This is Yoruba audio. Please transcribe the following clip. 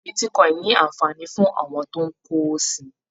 Bitíkọ̀in ní anfààní fún àwọn tó n k'owò si